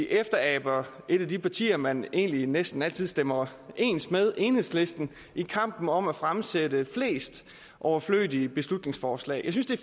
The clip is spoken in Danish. efteraber et af de partier man egentlig næsten altid stemmer ens med nemlig enhedslisten i kampen om at fremsætte flest overflødige beslutningsforslag jeg synes at